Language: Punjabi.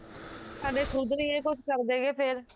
ਸਾਡੇ ਖੁਦ ਨੀ ਏਹ ਕੁਸ਼ ਕਰਦੇਗੇ ਫੇਰ